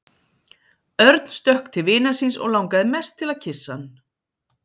Örn stökk til vinar síns og langaði mest til að kyssa hann.